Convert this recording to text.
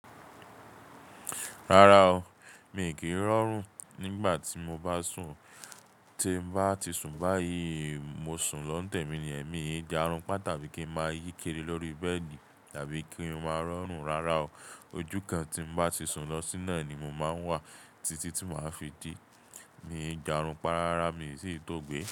Rárá o, mi kì í rọrùn nígbà tí mo bá sùn. Tí n bá ti sùn báyìí, mo sùn lọ́ǹtẹ̀ mi ni ẹ̀mí mi ń di àrùn pá tàbí kí n máa yí kéré lórí bẹ́ẹ̀dì tàbí kí n máa rọrùn. Rárá o, ojú kan tí n bá ti sùn lọ síná ni mo máa ń wà títí tí màá fi dí. Mi ń di àrùn pa. Rárá, mi sì ń tó gbé.